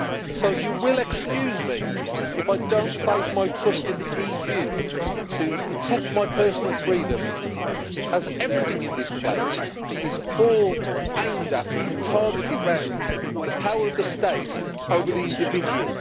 So please excuse me if I do not place my trust in the EU to protect my personal freedom, as everything in this place is all aimed at, and targeted round, the power of the state over the individual.